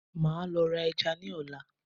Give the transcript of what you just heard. maa lo ra eja ni ola